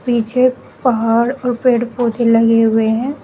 पीछे पहाड़ और पेड़ पौधे लगे हुए हैं।